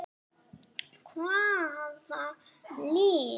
Hvaða lið?